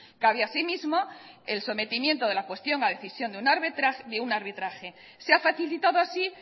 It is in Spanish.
cabe así mismo el sometimiento de la cuestión a decisión de un arbitraje se ha facilitado así